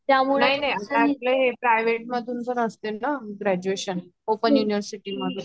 नाही नाही प्राइवेट मधून जे असत ना ग्रजुएशन ओपन यूनिवरसिटि मधून